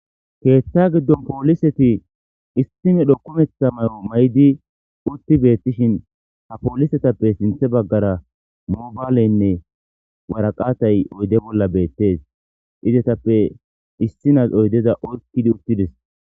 keetha giddon pooliseti issimedho kumetha may'o maydi utti beettishin ha poolisetappe sinthe baggara mobaaleynne waraqatay oyde bolla beettees izetappe issinas oydeza orkidi uttides.